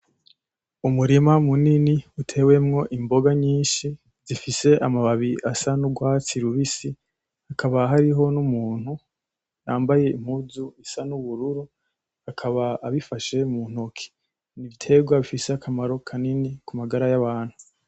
Umurima munini utewemwo imboga nyinshi z'ifise amababi asa n'urwatsi rubisi hakaba hariho n'umuntu yambaye impunzu isa n'ubururu, akaba abifashe mu ntoke n'ibitegwa bifise akamaro kanini ku magara y'abantu.